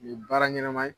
Nin ye baara ɲɛnɛma ye